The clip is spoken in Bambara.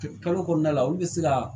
Kalo kɔnɔna la olu bɛ se ka